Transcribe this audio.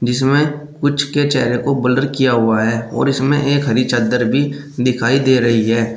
जिसमें कुछ के चेहरे को ब्लर किया हुआ है और इसमें एक हरी चद्दर भी दिखाई दे रही है।